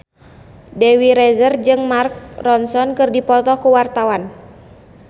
Dewi Rezer jeung Mark Ronson keur dipoto ku wartawan